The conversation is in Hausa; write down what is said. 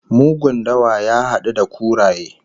Mugun dawa ya hadu da kuraye